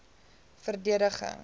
verdediging